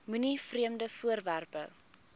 moenie vreemde voorwerpe